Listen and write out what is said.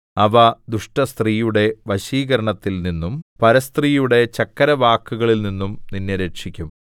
അവ ദുഷ്ടസ്ത്രീയുടെ വശീകരണത്തിൽ നിന്നും പരസ്ത്രീയുടെ ചക്കരവാക്കുകളിൽനിന്നും നിന്നെ രക്ഷിക്കും